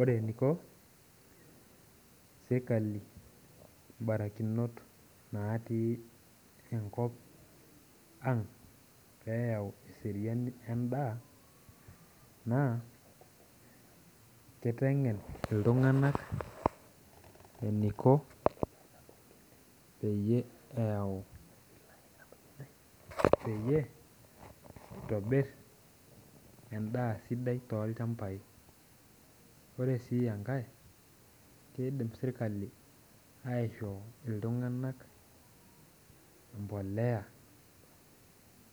Ore eniko serkali barakinot natii enkop aang peyau eseriani endaa na kitengen ltunganak eniko peyau peyie itobir endaa sidai tolchambai ore si enkae kidim serkali aishooyo embolea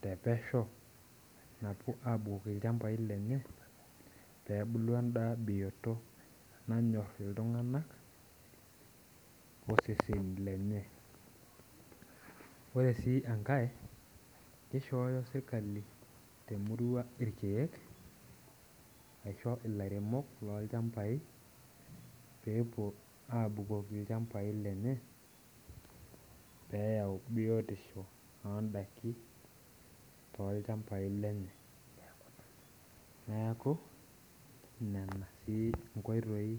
te pesho apik lchambai lenye pepuku entoki bioto nayor isesen ore su enkae nishooyo serkali temurua irkiek pepuo aun lchmbai lenye peyau biotisho ondakin tolchambai lenye neaku nona nkoitoi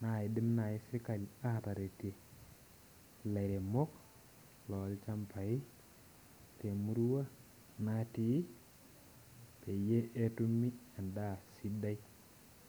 naidim serkali atoriko lairemok lolchambai elnatii peyie etumi endaa sidai.